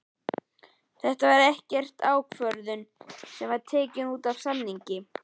Þetta var ekkert ákvörðun sem var tekin útaf samningi?